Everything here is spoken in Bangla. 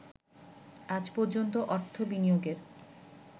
আজ পর্যন্ত অর্থ বিনিয়োগের